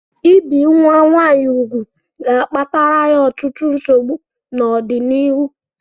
Ị bi nwa nwaanyị úgwù ga-akpatara ya ọtụtụ nsogbu n'ọdịnịhu